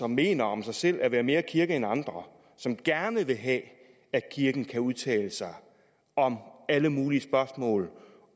mener om sig selv at være mere kirke end andre og som gerne vil have at kirken kan udtale sig om alle mulige spørgsmål